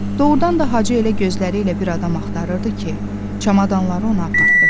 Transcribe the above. Doğrudan da Hacı elə gözləri ilə bir adam axtarırdı ki, çamadanları ona aparartdırsın.